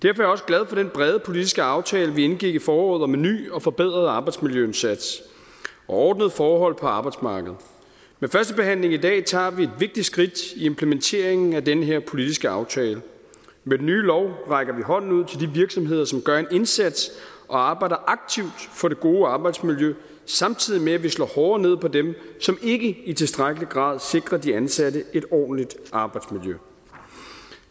er jeg også glad for den brede politiske aftale vi indgik i foråret om en ny og forbedret arbejdsmiljøindsats og ordnede forhold på arbejdsmarkedet med førstebehandlingen i dag tager vi et vigtigt skridt i implementeringen af den her politiske aftale med den nye lov rækker vi hånden ud til de virksomheder som gør en indsats og arbejder aktivt for det gode arbejdsmiljø samtidig med at vi slår hårdere ned på dem som ikke i tilstrækkelig grad sikrer de ansatte et ordentligt arbejdsmiljø